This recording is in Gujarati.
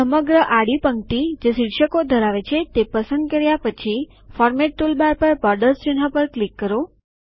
સમગ્ર આડી પંક્તિ જે શિર્ષકો ધરાવે છે તે પસંદ કર્યા પછી ફોર્મેટ ટૂલબાર પર બોર્ડર્સ ચિહ્ન પર ક્લિક કરો